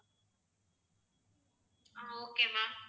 ah okay ma'am